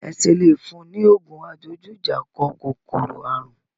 Ẹ ṣe le fún un ní ògùn adojújà kọ kòkòrò àrùn?